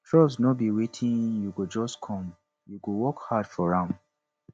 trust no be wetin go just come you go work hard for am